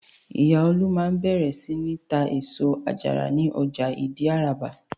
Ìyá Olú máa bẹ̀rẹ̀ sí ní tá èso àjàrà ní ọjà Ìdí-Àràbà.